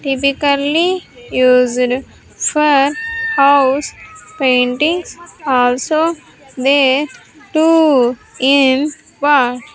Typically used for house paintings also there to in bo--